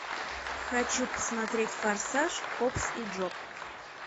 хочу посмотреть форсаж хобс и джоб